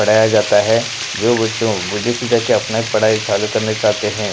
पढ़ाया जाता है जो बच्चों विदेशी से जा के अपना पढ़ाई चालू करना चाहते हैं।